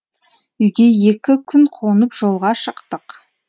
үйге екі күн қонып жолға шықтық